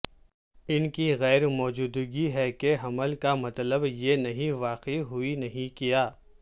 ان کی غیر موجودگی ہے کہ حمل کا مطلب یہ نہیں واقع ہوئی نہیں کیا